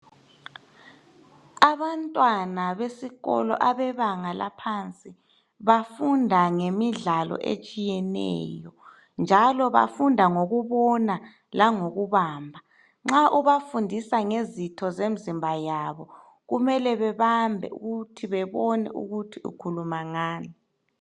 Abantwana besikolo abebanga laphansi bafunda ngemidlalo etshiyeneyo. Njalo bafunda ngokubona langokubamba. Nxa ubafundisa ngezitho zomzimba yabo kumele bebambe ukuthi bebone ukuthi ukhuluma ngani.